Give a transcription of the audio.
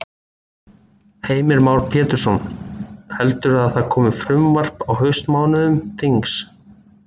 Heimir Már Pétursson: Heldurðu að það komi frumvarp á haustmánuðum þings?